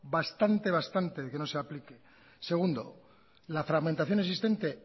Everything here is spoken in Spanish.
bastante bastante de que no se aplique segundo la fragmentación existente